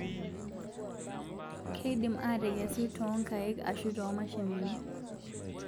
Keidimu atekesu ntookaik ashuu tomashinini